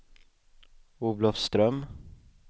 Olofström